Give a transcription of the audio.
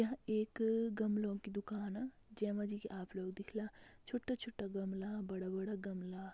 यह एक गमलो की दुकान जेमा जी की आप लोग दिखला छोटा-छोटा गमला बड़ा-बड़ा गमला।